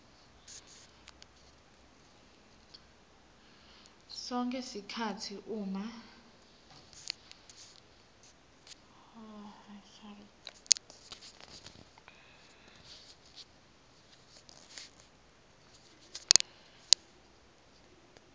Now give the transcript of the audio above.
sonkhe sikhatsi uma